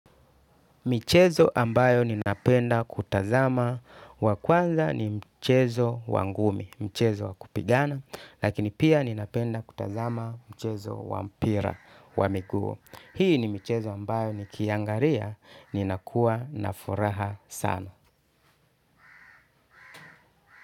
Michezo ambayo ninapenda kutazama wa kwanza ni mchezo wa ngumi, mchezo wa kupigana, lakini pia ninapenda kutazama mchezo wa mpira wa miguu. Hii ni mchezo ambayo nikiangalia, ninakuwa na furaha sana.